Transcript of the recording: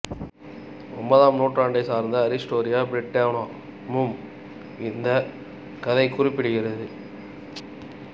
ஒன்பதாம் நூற்றாண்டைச் சேர்ந்த ஹிஸ்டோரியா பிரிட்டோன மும் இந்தக் கதையைக் குறிப்பிடுகிறது